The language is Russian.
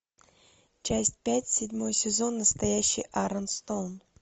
часть пять седьмой сезон настоящий арон стоун